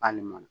K'ale mɔna